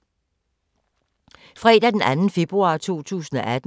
Fredag d. 2. februar 2018